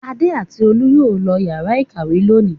Adé àti Olú yóò lọ ìyàrá-ìkàwé lónìí.